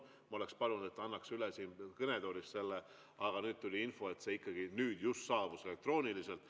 Ma oleks palunud, et ta annaks selle üle siit kõnetoolist, aga nüüd tuli info, et see just saabus elektrooniliselt.